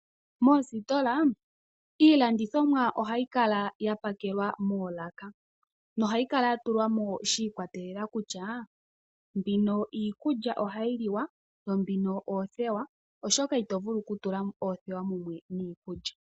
Moositola iilandithomwa ohayi kala ya pakelwa moolaka nohayi kala ya tulwa mo shi ikwatelela kutya mbino iikulya ohayi li wa, yo mbino oothewa, oshoka ito vulu oku tula oothewa mumwe niikulya.